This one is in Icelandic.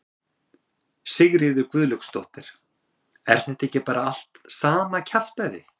Sigríður Guðlaugsdóttir: Er þetta ekki bara allt sama kjaftæðið?